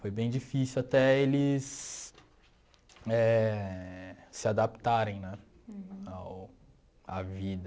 Foi bem difícil até eles éh se adaptarem né ao à vida.